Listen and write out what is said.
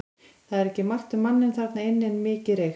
Það var ekki margt um manninn þarna inni en mikið reykt.